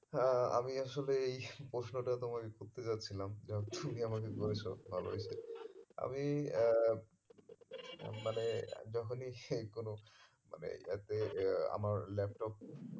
আহ আমি আসলে এই প্রশ্নটা তোমাকে করতে যাচ্ছিলাম যাক তুমি আমাকে করেছো ভালো হয়েছে আমি আহ মানে যখনি কোনো মানে app এ আমার laptop